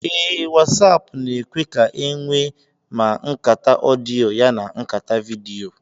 Ee, Wasáápu na-èkwé ka enwe ma nkàtá ọdịyo yana nkàtá vidiyo